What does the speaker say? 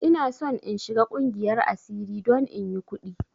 Ina son in shiga ƙungiyar asiri don inyi ƙudi!